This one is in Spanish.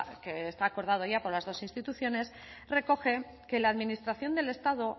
que está acordado ya por las dos instituciones recoge que la administración del estado